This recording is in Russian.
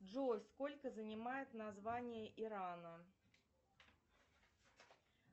джой сколько занимает название ирана